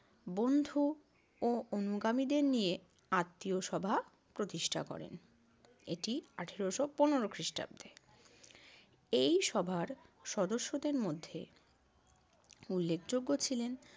বন্ধু ও অনুগামীদের নিয়ে আত্মীয় সভা প্রতিষ্ঠা করেন। এটি আঠারোশ পনেরো খ্রিষ্টাব্দে। এই সভার সদস্যদের মধ্যে উল্লেখযোগ্য ছিলেন